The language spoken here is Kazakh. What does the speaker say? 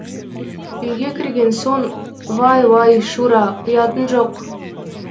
үйге кірген соң вай вай шура ұятың жоқ